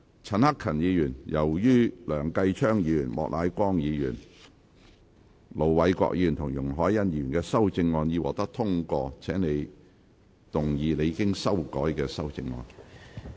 陳克勤議員，由於梁繼昌議員、莫乃光議員、盧偉國議員及容海恩議員的修正案已獲得通過，請動議你經修改的修正案。